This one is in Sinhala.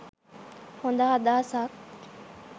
හොද අදහසක්.